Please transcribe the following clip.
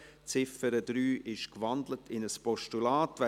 Die Ziffer 3 wurde in ein Postulat gewandelt.